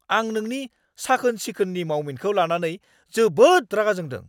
आं नोंनि साखोन-सिखोननि मावमिनखौ लानानै जोबोद रागा जोंदों।